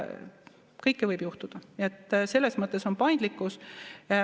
Kõike võib juhtuda, nii et selles mõttes on paindlikkus.